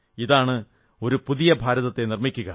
ഇതാണ് ഒരു പുതിയ ഭാരതത്തെ നിർമ്മിക്കുക